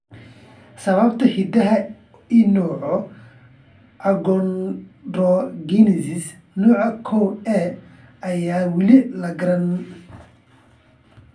Sababta hidaha ee nooca achondrogenesis nooca koow A ayaan weli la garanayn.